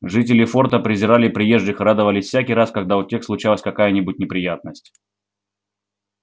жители форта презирали приезжих и радовались всякий раз когда у тех случалась какая-нибудь неприятность